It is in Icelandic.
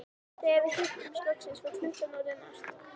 Þegar við hittumst loksins var klukkan orðin margt.